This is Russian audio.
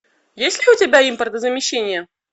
есть ли у тебя импортозамещение